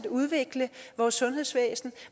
udvikle vores sundhedsvæsen